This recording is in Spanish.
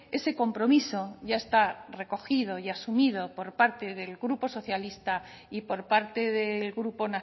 ese compromiso ya está recogido y asumido por parte del grupo socialista y por parte del grupo